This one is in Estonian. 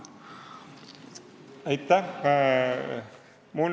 Aitäh!